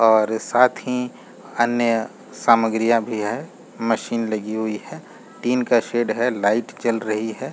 और साथ ही अन्य सामग्रियां भी है मशीन लगी हुई है टिन का शेड है लाइट जल रही है।